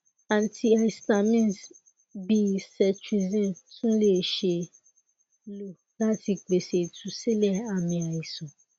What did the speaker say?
antihistamines bii cetrizine tun le ṣee lo lati pese itusilẹ aami aisan